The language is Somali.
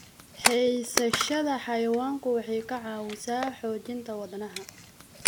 Haysashada xayawaanku waxay ka caawisaa xoojinta wadnaha.